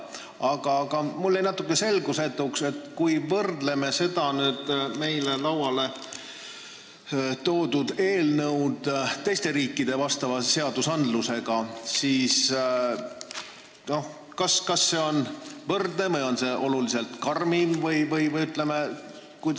Aga mulle jäi natuke selgusetuks, et kui me võrdleme seda meile lauale toodud eelnõu teiste riikide vastavate seadustega, siis kas see on teistega võrdne või on see oluliselt karmim.